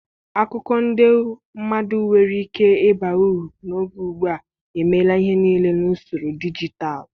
Akụkọ ndị madu enwere ike ịba uru n'oge ugbu a emela ihe niile n'usoro dijitalụ?